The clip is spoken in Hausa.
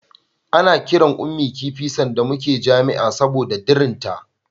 Ana kiran Ummi kifi sanda muna jami'a saboda dirinta.